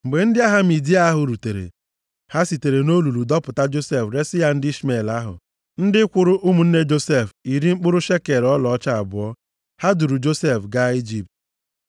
Mgbe ndị ahịa Midia ahụ rutere, ha sitere nʼolulu dọpụta Josef resi ya ndị Ishmel ahụ, ndị kwụrụ ụmụnne Josef iri mkpụrụ shekel ọlaọcha abụọ. Ha duuru Josef gaa Ijipt.